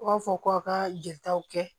U b'a fɔ ko aw ka jelitaw kɛ